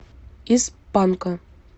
из панка